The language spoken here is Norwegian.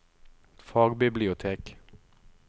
fagbibliotek